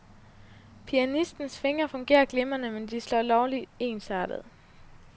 Pianistens fingre fungerer glimrende, men de slår lovlig ensartet.